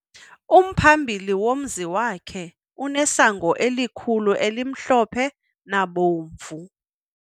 Umphambili womzi wakhe unesango elikhulu elimhlophe nabomvu.